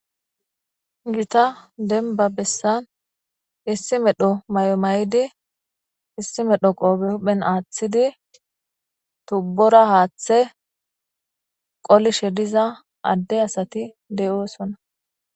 gita denba bessan issi medho mayo mayidi issi medho qooppe huphen aaththidi tubbora haaththe qolishe diza adde asati de7oosona.